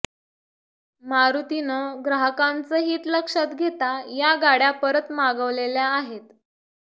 मारुतीनं ग्राहकांचं हित लक्षात घेता या गाड्या परत मागवलेल्या आहेत